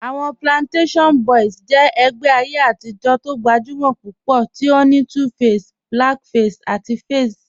Awọn Plantashun Boys jẹ ẹgbẹ ayé atijọ̀ tó gbajúmọ̀ púpọ̀ tí ó ní 2face, Blackface àti Faze.